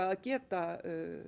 að geta